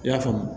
I y'a faamu